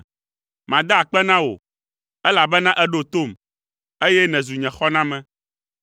Mada akpe na wò, elabena èɖo tom, eye nèzu nye xɔname.